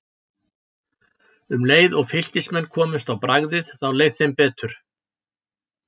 Um leið og Fylkismenn komust á bragðið þá leið þeim betur.